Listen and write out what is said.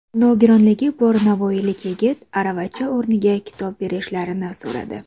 Nogironligi bor navoiylik yigit aravacha o‘rniga kitob berishlarini so‘radi.